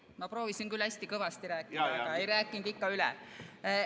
Ma küll proovisin hästi kõvasti rääkida, aga ei rääkinud ikka üle.